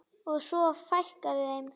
Og svo fækkaði þeim.